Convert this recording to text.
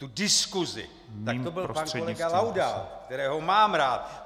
Tu diskusi, tak to byl pan kolega Laudát, kterého mám rád.